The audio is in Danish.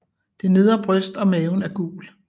Det nedre bryst og maven er gul